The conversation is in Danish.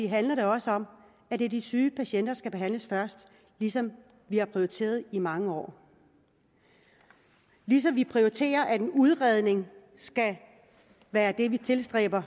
handler det også om at det er de syge patienter der skal behandles først ligesom vi har prioriteret i mange år og ligesom vi prioriterer at en udredning skal